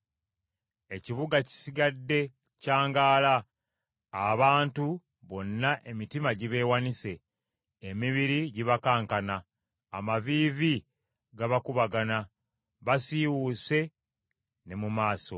Ekibuga kisigadde kyangaala! Abantu bonna emitima gibeewanise, emibiri gibakankana, amaviivi gabakubagana, basiiwuuse ne mu maaso.